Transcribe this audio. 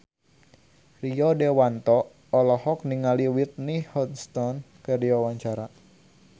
Rio Dewanto olohok ningali Whitney Houston keur diwawancara